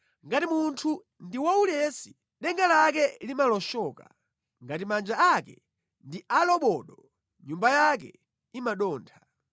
Ngati munthu ndi waulesi, denga lake limaloshoka; ngati manja ake ndi alobodo nyumba yake imadontha.